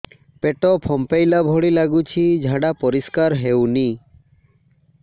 ପେଟ ଫମ୍ପେଇଲା ଭଳି ଲାଗୁଛି ଝାଡା ପରିସ୍କାର ହେଉନି